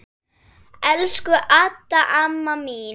Elsku Adda amma mín.